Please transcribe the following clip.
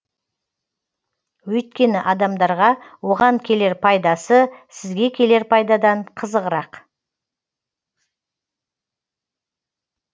өйткені адамдарға оған келер пайдасы сізге келер пайдадан қызығырақ